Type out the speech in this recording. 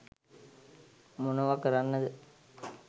මොනව කරන්නද